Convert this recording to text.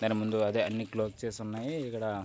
దాని ముందు అదే అన్ని క్లోజ్ చేసి ఉన్నాయి. ఇక్కడ--